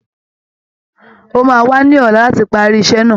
Ó máa wá ní ọ̀la láti parí iṣẹ́ náà